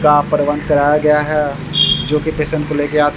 का प्रबंध कराया गया है जो कि पेशेंट को लेके आ --